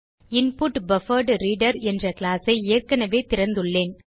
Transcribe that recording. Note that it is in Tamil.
இன்புட்பஃபர்ட்ரீடர் என்ற கிளாஸ் ஐ ஏற்கனவே திறந்துள்ளேன்